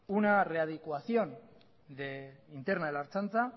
una readecuación interna de la ertzaintza